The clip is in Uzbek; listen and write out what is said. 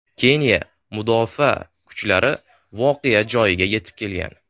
Keniya mudofaa kuchlari voqea joyiga yetib kelgan.